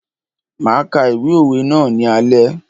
Máa ka ìwé òwe ná ní alé.